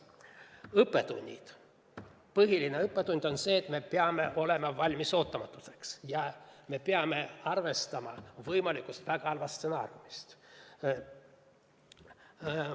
Õppetunnid: põhiline õppetund on see, et me peame olema valmis ootamatusteks ja arvestama võimaliku väga halva stsenaariumiga.